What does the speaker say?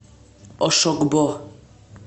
ошогбо